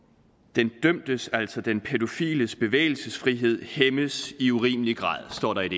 den dømtes altså den pædofiles bevægelsesfrihed hæmmes i urimelig grad står der i et